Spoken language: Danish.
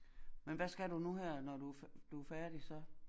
Men hvad skal du nu her når du du færdig så